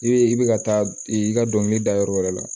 I bɛ i bɛ ka taa i ka dɔnkili da yɔrɔ wɛrɛ la